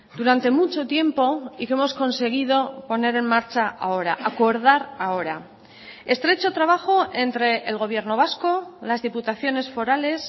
durante mucho tiempo y que hemos conseguido poner en marcha ahora acordar ahora estrecho trabajo entre el gobierno vasco las diputaciones forales